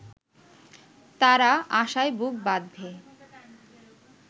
তারা আশায় বুক বাঁধবে